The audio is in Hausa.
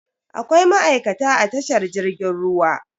Akwai ma'aikata a tashar jirgin ruwa.